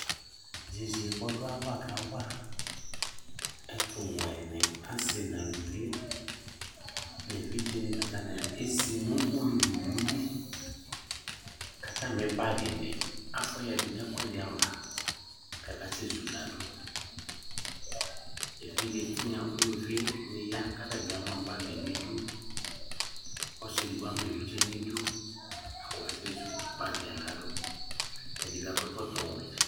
yeye k'ɔdu ava ka wa ɛtò wɛ ni asi n'aluvi n'evidze ni atani ezi no ulu li owu li k'atami bag ni afua ya du n'ɛkòɛdi ava k'aka sɛ zu la do evidze tinya uluvi ni ya k'atabi ama bag n'idu ɔsi edigbo ama evidze n'idu k'ɔka sɛ zu bag yɛ la do ɛdi bi akɔ ɛkɔtɔ wɛ